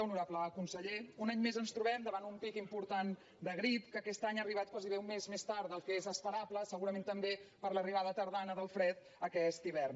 honorable conseller un any més ens trobem davant un pic important de grip que aquest any ha arribat gairebé un mes més tard del que és esperable segurament també per l’arribada tardana del fred aquest hivern